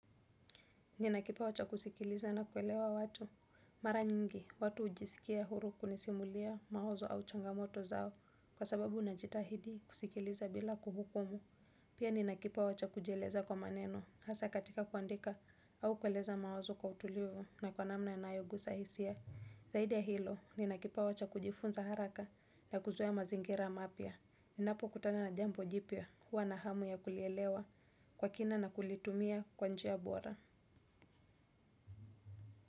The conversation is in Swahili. Nina kipawa cha kusikiliza na kuelewa watu. Mara nyingi, watu ujiskia huru kunisimulia mawazo au changamoto zao. Kwa sababu najitahidi kusikiliza bila kuhukumu. Pia ninakipawa cha kujieleza kwa maneno. Hasa katika kuandika au kueleza mawazo kwa utulivu na kwa namna yanayogusa hisia. Zaidi ya hilo, ninakipwa cha kujifunza haraka na kuzoe mazingira mapya. Ninapo kutana na jambo jipya huwa na hamu ya kulielewa kwa kina na kulitumia kwa njia bora.